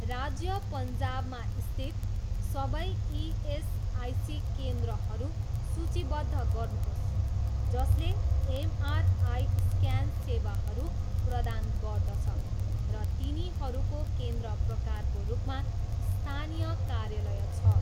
राज्य पन्जाब मा स्थित सबै इएसआइसी केन्द्रहरू सूचीबद्ध गर्नुहोस् जसले एमआरआई स्क्यान सेवाहरू प्रदान गर्दछ र तिनीहरूको केन्द्र प्रकारको रूपमा स्थानीय कार्यालय छ।